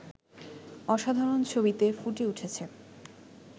অসাধারণ ছবিতে ফুটে ওঠেছে